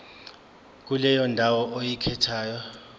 kuleyo ndawo oyikhethayo